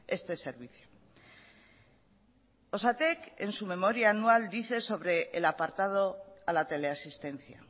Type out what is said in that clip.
este servicio osatek en su memoria anual dice sobre el apartado a la teleasistencia